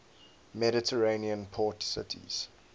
mediterranean port cities